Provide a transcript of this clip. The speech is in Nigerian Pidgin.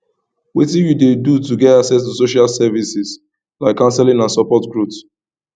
wetin you dey do to get access to social services like counseling and support growth